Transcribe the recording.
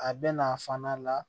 A bɛ na a fana la